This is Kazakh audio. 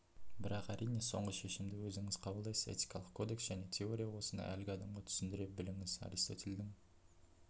бірақ әрине соңғы шешімді өзіңіз қабылдайсыз этикалық кодекс және теория осыны әлгі адамға түсіндіре біліңіз аристотельдің